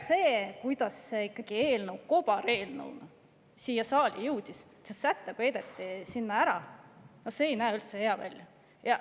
See, kuidas praegu see ikkagi kobareelnõuga siia saali jõudis – see säte peideti sinna ära –, ei näe üldse hea välja.